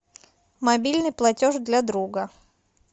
мобильный платеж для друга